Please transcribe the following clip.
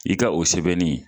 I ka o sɛbɛnni